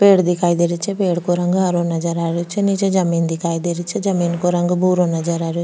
पेड़ दिखाई दे रे छे पेड़ को रंग हरो नजर आ रेहो छे निचे जमीं दिखाई दे री छे जमीं को रंग भूरो नजर आ रो --